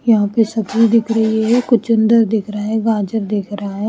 यहां पे सब्जी दिख रही है कुचंदर दिख रहा है गाजर दिख रहा है।